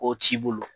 K'o t'i bolo